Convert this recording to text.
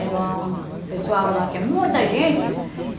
Era um... O pessoal lá tinha muita gente.